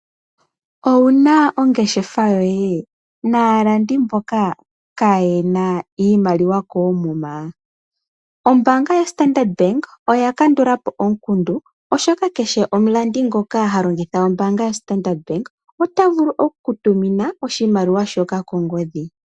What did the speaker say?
Owuna ongeshefa yoye naalandi mboka kayena iimaliwa koomuma? Ombaanga yoStandard Bank oyakandula po omukundu oshoka, kehe omulandi ngoka halongitha ombaanga yoStandard Bank, ota vulu okukutumina oshimaliwa shoka kongodhi.